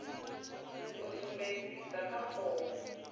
yo sumbedzwaho kha fomo phanda